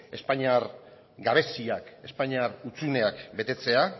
espainiar gabeziak espainiar hutsuneak betetzea